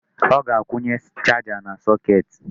Ọ ga-akwunye charger na socket.